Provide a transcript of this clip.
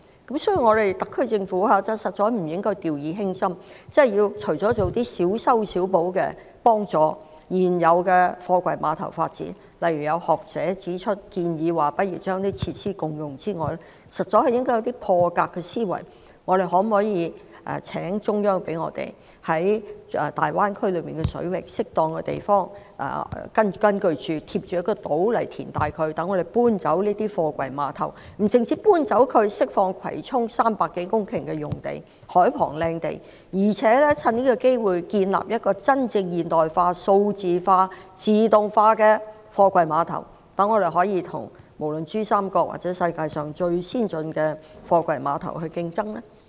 有見及此，特區政府實在不能掉以輕心，除了小修小補，協助現有貨櫃碼頭發展外，例如有學者建議共用設施，實在應該有破格的思維，例如可否請求中央政府讓我們在大灣區水域內的適當地方，沿島填海，以供搬遷貨櫃碼頭，這不但可以釋放葵涌海旁300多公頃的優質土地，更可藉此機會建立真正現代化、數碼化和自動化的貨櫃碼頭，讓我們能夠與珠三角以至世界上最先進的貨櫃碼頭競爭。